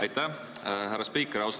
Aitäh, härra spiiker!